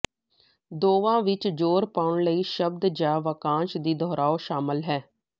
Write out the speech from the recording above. ਦੋਵਾਂ ਵਿਚ ਜ਼ੋਰ ਪਾਉਣ ਲਈ ਸ਼ਬਦ ਜਾਂ ਵਾਕਾਂਸ਼ ਦੀ ਦੁਹਰਾਓ ਸ਼ਾਮਲ ਹੈ